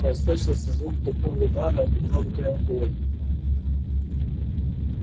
послышался звук тупого удара и громкое ой